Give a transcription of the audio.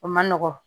O man nɔgɔn